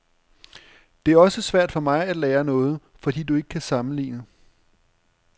Det er også svært for mig at lære noget, fordi du ikke kan sammenligne.